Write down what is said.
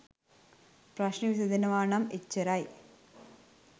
ප්‍රශ්න විසඳෙනවනම් එච්චරයි